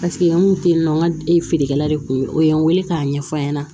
Paseke an kun te yen nɔ an ka feerekɛla de kun ye o ye n wele k'a ɲɛf'a ɲɛna